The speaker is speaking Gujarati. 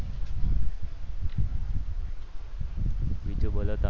બીજું બોલો તમે